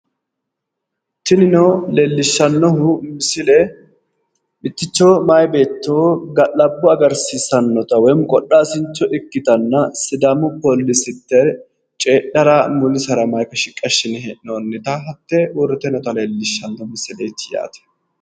Tinino leellishshannohu misile mitticho mayi beetto ga'labbo agarsiisssannota woyiimmi qodhaasincho ikkitanna sidaamu poolisitte coyyidhara mulisera mayiike shiqqi assine hee'noonnita hattee leellishshanno misileeti